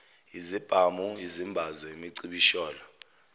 izibhamu izimbazo imicibisholo